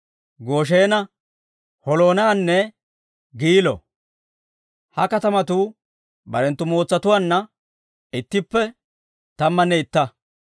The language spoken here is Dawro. Goshena, Holoonanne Giilo. Ha katamatuu barenttu mootsatuwaanna ittippe tammanne itta.